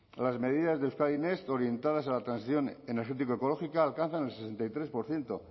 las medidas de euskadi next orientadas a la transición energético ecológica alcanzan el sesenta y tres por ciento